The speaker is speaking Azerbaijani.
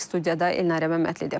Studiyada Elnarə Məmmədlidir.